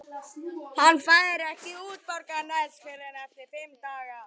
Hann fær ekki útborgað næst fyrr en eftir fimm daga.